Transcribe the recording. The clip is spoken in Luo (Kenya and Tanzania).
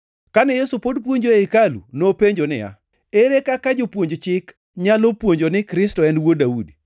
Kane Yesu pod puonjo ei hekalu, nopenjo niya, “Ere kaka Jopuonj Chik nyalo puonjo ni Kristo en wuod Daudi?